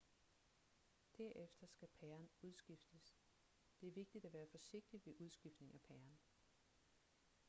derefter skal pæren udskiftes det er vigtigt at være forsigtig ved udskiftning af pæren